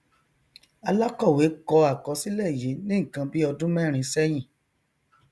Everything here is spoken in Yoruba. alakọwe kọ akọsilẹ yii ni nnkan bi ọdun mẹrin sẹhin